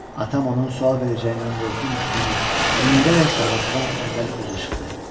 Atam onun sual verəcəyindən qorxurmuş kimi yüyürərək darvazadan əvvəl özü çıxdı.